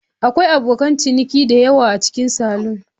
Akwai abokan ciniki da yawa a cikin salon.